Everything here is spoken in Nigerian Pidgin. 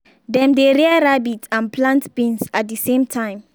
dem dey rear rabbit and plant beans at the same time.